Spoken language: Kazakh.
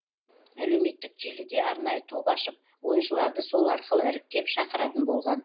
әлеуметтік желіде арнайы топ ашып ойыншыларды сол арқылы іріктеп шақыратын болған